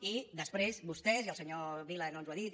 i després vostès i el senyor vila no ens ho ha dit